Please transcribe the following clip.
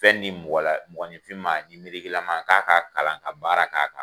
Fɛn di mgɔninfin ma lama k'a ka kalan ka baara k'a kan.